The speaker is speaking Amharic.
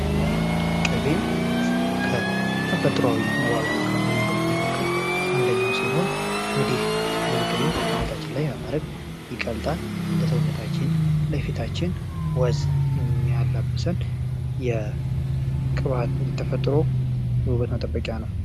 ቅቤ ከተፈጥሯዊ መዋቢያ መንገዶች መካከል አንደኛው ሲሆን፤ እንግዲህ ይህንን ቅቤ አናታችን ላይ በማድረግ ይቀልጣል ለሰውነታችን ለፊታችን ወዝ ሚያላብሰን የተፈጥሮ ውበት መጠበቂያ ነው።